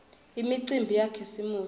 imicimbi yakhisimusi